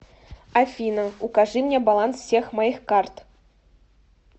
афина укажи мне баланс всех моих карт